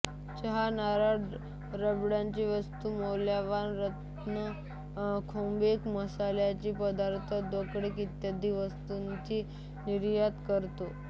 चहा नारळ रबराच्या वस्तू मौल्यवान रत्ने खोबरे मसाल्याचे पदार्थ दोरखड इत्यादी वस्तूची नियार्त करतो